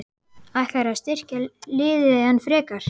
Ætlarðu að styrkja liðið enn frekar?